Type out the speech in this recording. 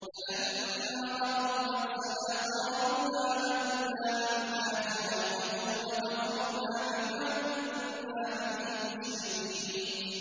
فَلَمَّا رَأَوْا بَأْسَنَا قَالُوا آمَنَّا بِاللَّهِ وَحْدَهُ وَكَفَرْنَا بِمَا كُنَّا بِهِ مُشْرِكِينَ